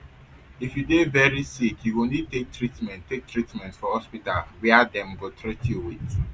if you dey veri sick you go need take treatment take treatment for hospital wia dem go teat you wit